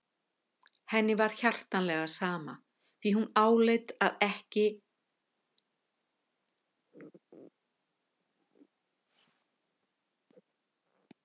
Henni var hjartanlega sama því hún áleit það ekki mannkosti að hæðast að fólki.